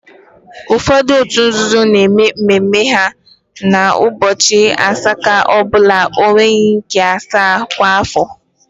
Ụfọdụ òtù nzuzo na-eme mme mme ha ụbọchị nke asaa ọ bụla n'ọnwa nke asaa kwa afọ.